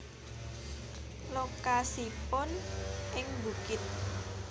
Lokasipun ing bukit